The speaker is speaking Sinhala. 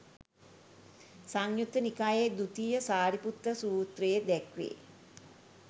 සංයුත්ත නිකායේ දුතිය සාරිපුත්ත සූත්‍රයේ දැක්වේ.